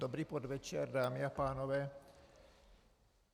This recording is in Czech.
Dobrý podvečer, dámy a pánové.